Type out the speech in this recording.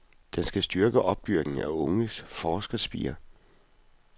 Den skal styrke opdyrkningen af unge forskerspirer.